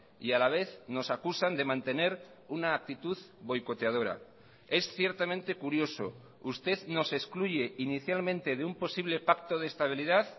y a la vez nos acusan de mantener una actitud boicoteadora es ciertamente curioso usted nos excluye inicialmente de un posible pacto de estabilidad